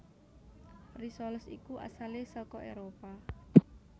Risoles iku asalé saka Éropah